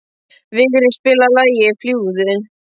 Vigri, spilaðu lagið „Fljúgðu“.